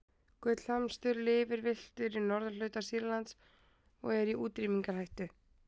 gullhamstur lifir villtur í norðurhluta sýrlands og er í útrýmingarhættu